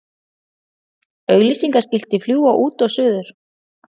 Auglýsingaskilti fljúga út og suður